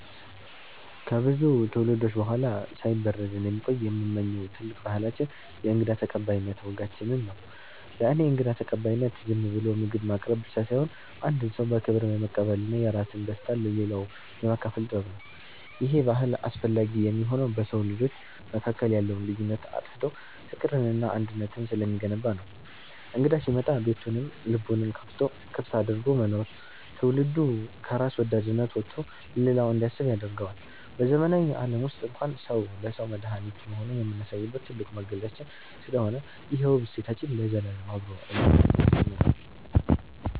ከብዙ ትውልዶች በኋላ ሳይበረዝ እንዲቆይ የምመኘው ትልቁ ባህላችን የእንግዳ ተቀባይነት ወጋችንን ነው። ለእኔ እንግዳ ተቀባይነት ዝም ብሎ ምግብ ማቅረብ ብቻ ሳይሆን፣ አንድን ሰው በክብር የመቀበልና የራስን ደስታ ለሌላው የማካፈል ጥበብ ነው። ይሄ ባህል አስፈላጊ የሚሆነው በሰው ልጆች መካከል ያለውን ልዩነት አጥፍቶ ፍቅርንና አንድነትን ስለሚገነባ ነው። እንግዳ ሲመጣ ቤቱንም ልቡንም ክፍት አድርጎ መኖር፣ ትውልዱ ከራስ ወዳድነት ወጥቶ ለሌላው እንዲያስብ ያደርገዋል። በዘመናዊው ዓለም ውስጥ እንኳን ሰው ለሰው መድኃኒት መሆኑን የምናሳይበት ትልቁ መገለጫችን ስለሆነ፣ ይሄ ውብ እሴታችን ለዘላለም አብሮን እንዲኖር እመኛለሁ።